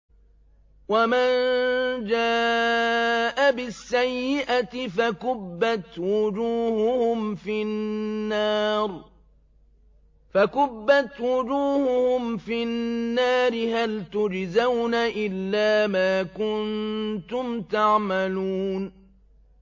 وَمَن جَاءَ بِالسَّيِّئَةِ فَكُبَّتْ وُجُوهُهُمْ فِي النَّارِ هَلْ تُجْزَوْنَ إِلَّا مَا كُنتُمْ تَعْمَلُونَ